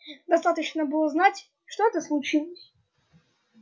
достаточно было знать что это случилось